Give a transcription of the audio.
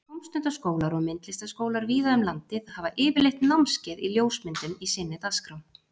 Tómstundaskólar og myndlistaskólar víða um landið hafa yfirleitt námskeið í ljósmyndun í sinni dagskrá.